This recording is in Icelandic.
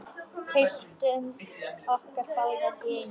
Byltum okkur báðar í einu.